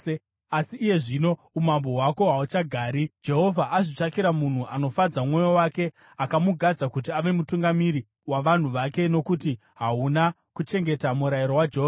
Asi iye zvino umambo hwako hahuchagari; Jehovha azvitsvakira munhu anofadza mwoyo wake, akamugadza kuti ave mutungamiri wavanhu vake, nokuti hauna kuchengeta murayiro waJehovha.”